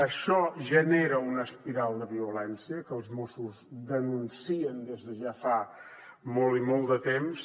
això genera una espiral de violència que els mossos denuncien des de ja fa molt i molt de temps